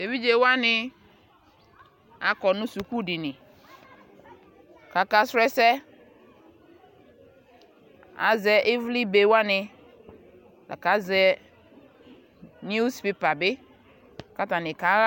tʋ ɛvidzɛ wani akɔ nʋ skʋl dini kʋ aka srɔ ɛsɛ ,azɛ ivli bɛ wani lakʋ azɛ news paper bi kʋ atani kaha.